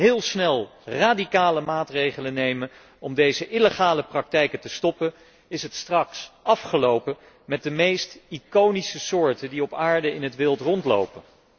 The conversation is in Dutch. Als wij niet heel snel radicale maatregelen nemen om deze illegale praktijken te stoppen, is het straks afgelopen met de meest iconische soorten die op aarde in het wild rondlopen.